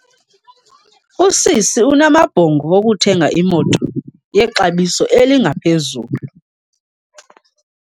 Usisi unamabhongo okuthenga imoto yexabiso eliphezulu.